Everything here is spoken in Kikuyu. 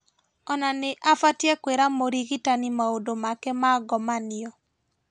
Ona nĩ abatie kwĩra mũrigitani maũndũ make ma ngomanio